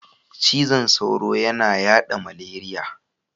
Cizon sauro yana yaɗa zmaleriya.